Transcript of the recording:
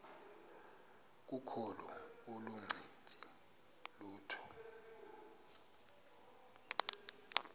kokholo aluncedi lutho